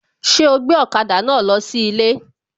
Ṣé ó gbé ọ̀kada náà lọ sí ilé?